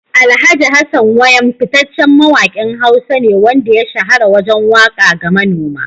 Alhj. Hassan Wayam fitaccen mawakin Hausa ne wanda ya shahara wajen waka ga manoma.